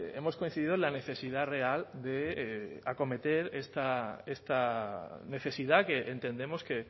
hemos coincidido en la necesidad real de acometer esta necesidad que entendemos que